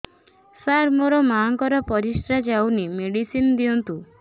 ସାର ମୋର ମାଆଙ୍କର ପରିସ୍ରା ଯାଉନି ମେଡିସିନ ଦିଅନ୍ତୁ